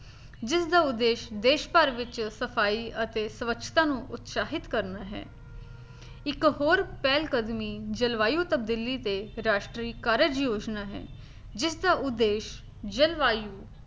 ਜਿਸ ਦਾ ਉਦੇਸ਼ ਦੇਸ਼ ਭਰ ਵਿੱਚ ਸਫਾਈ ਅਤੇ ਸਵੱਛਤਾ ਨੂੰ ਉਤਸ਼ਾਹਿਤ ਕਰਨਾ ਹੈ ਇੱਕ ਹੋਰ ਪਹਿਲ ਕਦਮੀ ਜਲਵਾਯੂ ਤੋਂ ਦਿੱਲੀ ਤੇ ਰਾਸ਼ਟਰੀ ਕਾਰਜ ਯੋਜਨਾ ਹੈ, ਜਿਸ ਦਾ ਉਦੇਸ਼ ਜਲਵਾਯੂ